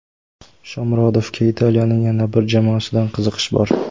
Shomurodovga Italiyaning yana bir jamoasidan qiziqish bor.